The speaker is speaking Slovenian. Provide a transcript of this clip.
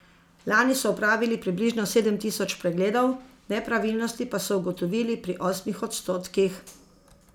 Lani so opravili približno sedem tisoč pregledov, nepravilnosti pa so ugotovili pri osmih odstotkih.